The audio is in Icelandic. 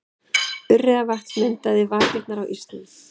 Urriðavatns myndaði vakirnar á ísnum.